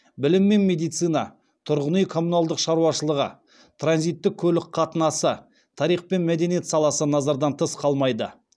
білім мен медицина тұрғын үй коммуналдық шаруашылығы транзиттік көлік қатынасы тарих пен мәдениет саласы назардан тыс қалмайды